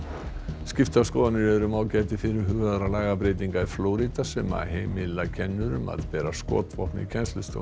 skiptar skoðanir eru um ágæti fyrirhugaðra lagabreytinga í Flórída sem heimila kennurum að bera skotvopn í kennslustofum